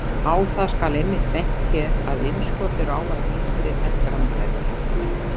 Á það skal einmitt bent hér að innskot eru ávallt yngri en grannbergið.